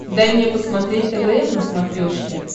дай мне посмотреть твм на смотрешке